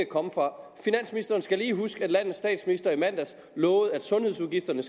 komme fra finansministeren skal lige huske at landets statsminister i mandags lovede at sundhedsudgifterne